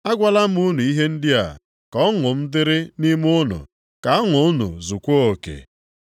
Agwala m unu ihe ndị a ka ọṅụ m dịrị nʼime unu ka ọṅụ unu zukwaa oke.